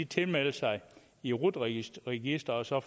tilmelde sig i rut registret registret så